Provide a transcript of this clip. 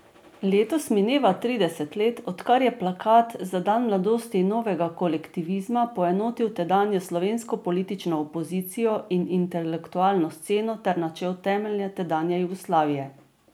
Letos mineva trideset let, odkar je plakat za dan mladosti Novega kolektivizma poenotil tedanjo slovensko politično opozicijo in intelektualno sceno ter načel temelje tedanje Jugoslavije.